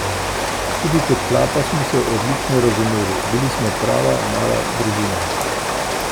Tudi kot klapa smo se odlično razumeli, bili smo prava mala družina.